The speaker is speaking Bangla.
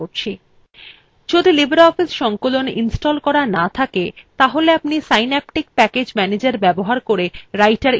যদি আপনি libreoffice সংকলন ইনস্টল করা না থাকে তাহলে আপনি synaptic package manager ব্যবহার করে writer ইনস্টল করতে পারেন